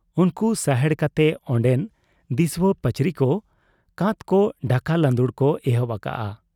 ᱩᱱᱠᱩ ᱥᱟᱦᱮᱲ ᱠᱟᱛᱮ ᱚᱱᱰᱮᱱ ᱫᱤᱥᱣᱟᱹ ᱯᱟᱹᱪᱨᱤᱠᱚ ᱠᱟᱸᱛᱠᱚ ᱰᱷᱟᱠᱟ ᱞᱟᱺᱫᱩᱲ ᱠᱚ ᱮᱦᱚᱵ ᱟᱠᱟᱜ ᱟ ᱾